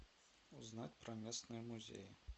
узнать про местные музеи